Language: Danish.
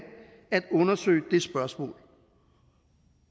at undersøge det spørgsmål